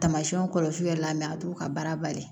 Tamasiyɛnw kɔlɔsi yɛrɛ la a t'u ka baara bali